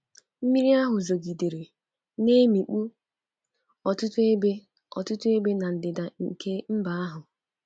Mmiri ahụ zogidere, na-emikpu ọtụtụ ebe ọtụtụ ebe n'ndịda nke mba ahụ.